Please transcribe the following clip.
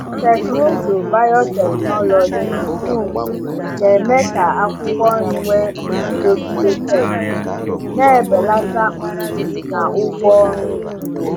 Teknụzụ biotechnology um na-eme ka akwụkwọ nri nwee nguzogide pesti, na-ebelata mfu na ụgwọ ọrụ ugbo.